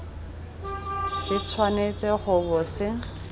se tshwanetse go bo se